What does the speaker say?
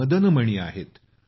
Madan मणिआहेत